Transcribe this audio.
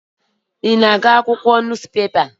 Ị na-agụ akwụkwọ akụkọ?